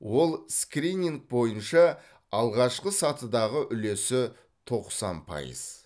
ол скрининг бойынша алғашқы сатыдағы үлесі тоқсан пайыз